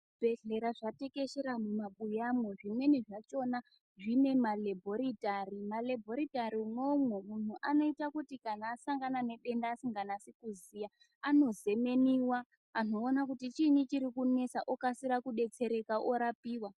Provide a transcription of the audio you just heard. Zvibhehlera zvatekeshera mubabuyamwo. Zvimweni zvachona zvine malebhoritari. Malebhoritari umwomwo anoita kuti kana asangana nedenda asikanasi kuziya anozemeniwa anhu oona kuti chiini chiri kunesa okasira kudetsereka orapiwa.